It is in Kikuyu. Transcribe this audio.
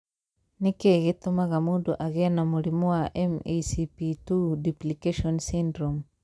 Nĩ kĩĩ gĩtũmaga mũndũ agĩe na mũrimũ wa MECP2 duplication syndrome?